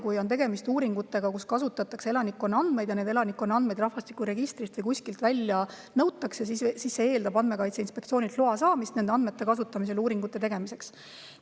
Kui on tegemist uuringutega, kus kasutatakse elanikkonna andmeid ja elanikkonna andmeid rahvastikuregistrist või kuskilt välja nõutakse, siis see eeldab Andmekaitse Inspektsioonilt loa saamist nende andmete kasutamiseks uuringute tegemisel.